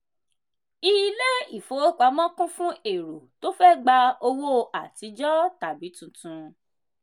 ilé ìfowópamọ́ kún fún èrò tó fẹ gba owó àtijọ tàbí tuntun.